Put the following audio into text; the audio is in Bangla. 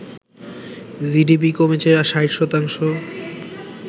জিডিপি কমেছে ৬০ শতাংশ